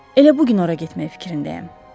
Elə bu gün ora getməyi fikrindəyəm.